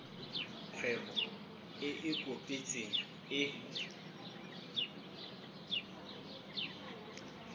kgwebo e e kopetsweng e